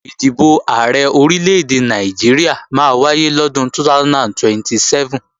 Ìdìbò Ààrẹ Orílè-èdè Nàìjíríà máa wáyé lọ́dún 2027